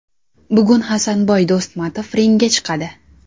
Bugun Hasanboy Do‘stmatov ringga chiqadi.